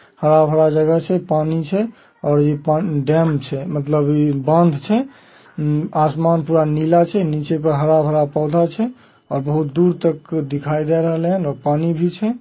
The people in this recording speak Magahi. हरा-हरा जगह छै। पानी छै और इ डैम छै मतलब बांध छै। अम आसमान पूरा नीला छै। नीचे पूरा हरा-भरा पौधा छै और बहुत दूर तक दिखाई दे रहले हैन और पानी भी छै।